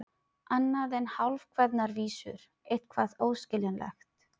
Annað en hálfkveðnar vísur, eitthvað óskiljanlegt.